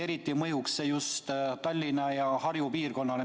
Eriti mõjuks see just Tallinna ja Harju piirkonnale.